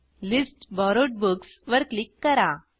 list borrowed books वर click करा